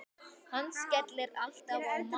Hann skellir alltaf á mann!